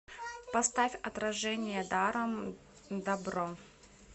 поставь отражение даром дабро